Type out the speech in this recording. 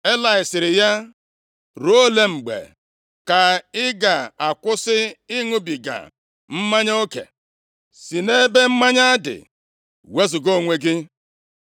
Elayị sịrị ya, “Ruo ole mgbe ka ị ga-akwụsị ịṅụbiga mmanya oke? Si nʼebe mmanya dị wezuga onwe gị!”